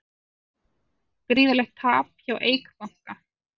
Gríðarlegt tap hjá Eik banka